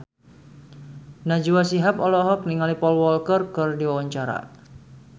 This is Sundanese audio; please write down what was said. Najwa Shihab olohok ningali Paul Walker keur diwawancara